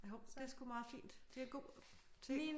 Jo det er sgu meget fint. Det er en god ting